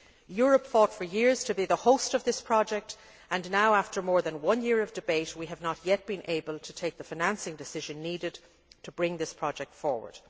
Europe fought for years to be the host of this project and now, after more than one year of debate, we have not yet been able to take the financing decision needed to bring this project forward.